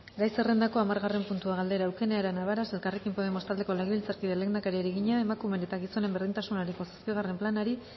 gai zerrendako hamargarren puntua galdera eukene arana varas elkarrekin podemos taldeko legebiltzarkideak lehendakariari egina emakumeen eta gizonen berdintasunerako zazpigarren planari